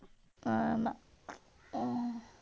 ஆமா.